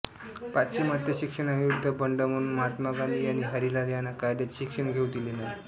पाश्चिमात्य शिक्षणाविरुद्ध बंड म्हणून महात्मा गांधी यांनी हरिलाल यांना कायद्याचे शिक्षण घेऊ दिले नाही